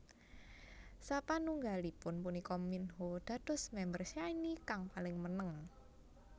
Sapanunggalipun punika Minho dados mamber Shinee kang paling meneng